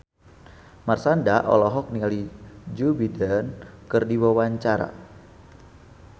Marshanda olohok ningali Joe Biden keur diwawancara